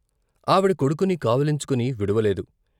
ఆవిడ కొడుకుని కావిలించుకొని విడువలేదు.